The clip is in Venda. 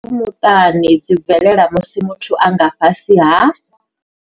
Khakhathi dza muṱani dzi bvelela musi muthu a nga fhasi ha.